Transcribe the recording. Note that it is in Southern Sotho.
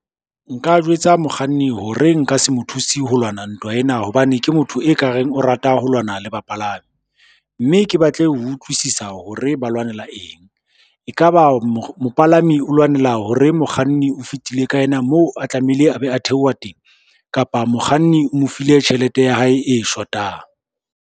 Nka jwetsa mokganni hore nka se mo thuse ho lwana ntwa ena, hobane ke motho e kareng o rata ho lwana le bapalami, mme ke batle ho utlwisisa hore ba lwanela eng. E ka ba mopalami o lwanela hore mokganni o fetile ka ena mo a tlamehile a be a theoha teng kapa mokganni o mo file tjhelete ya hae e shotang.